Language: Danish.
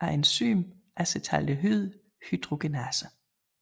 af enzymet acetaldehyddehydrogenase